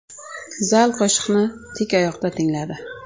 Zal qo‘shiqni tik oyoqda tingladi.